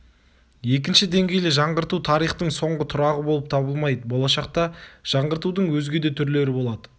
екінші деңгейлі жаңғырту тарихтың соңғы тұрағы болып табылмайды болашақта жаңғыртудың өзге де түрлері болады